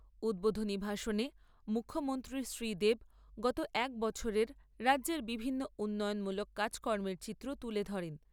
উদ্বোধনী ভাষণে মুখ্যমন্ত্রী শ্রীদেব গত এক বছরের রাজ্যের বিভিন্ন উন্নয়নমূলক কাজকর্মের চিত্র তুলে ধরেন।